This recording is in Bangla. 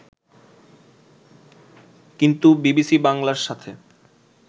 কিন্তু বিবিসি বাংলার সাথে